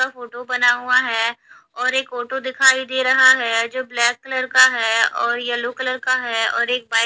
photo बना हुआ है और एक आटो दिखाई दे रहा है जो ब्लैक कलर का है और येलो कलर का है और एक बाइक --